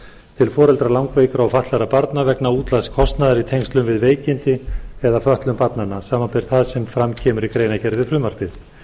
til foreldra langveikra og fatlaðra barna vegna útlagðs kostnaðar í tengslum við veikindi eða fötlun barnanna samanber það sem fram kemur í greinargerð við frumvarpið